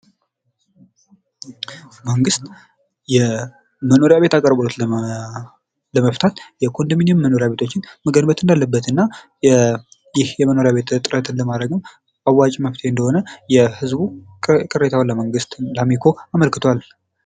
መንግስት የመኖሪያ ቤት አቅርቦት ለመፍታት የኮንዶሚኒየም መኖርያ ቤቶችን መገንባት እንዳለበት እና ይህ ለመኖሪያ ቤት እጥረት አዋጭ መፍትሄ እንደሆነ ቅሬታውን ለመንግስት ወይም ለአሚኮ አመልክቷል።